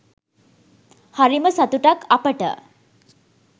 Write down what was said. හරිම සතුටක් අපට